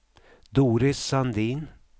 Doris Sandin